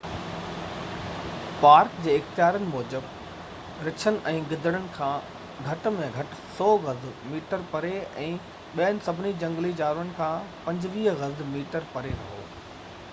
Park جي اختيارين موجب، رڇن ۽ گدڙن کان گهٽ ۾ گهٽ 100 گز/ميٽر پري ۽ ٻين سڀني جهنگلي جانورن کان 25 گز/ميٽر پري رهو!